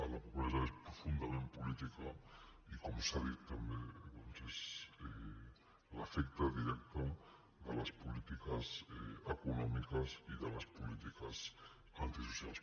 la pobresa és profundament política i com s’ha dit també doncs és l’efecte directe de les polítiques econòmiques i de les polítiques antisocials